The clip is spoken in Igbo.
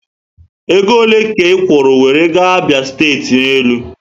Ego ole ka ikwuru were gaa Abia site ná élú?